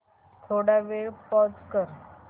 थोडा वेळ पॉझ कर